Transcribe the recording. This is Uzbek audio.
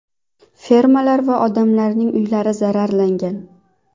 Fermalar va odamlarning uylari zararlangan.